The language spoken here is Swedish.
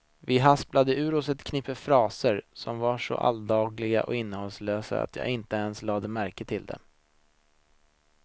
Vi hasplade ur oss ett knippe fraser som var så alldagliga och innehållslösa att jag inte ens lade märke till dem.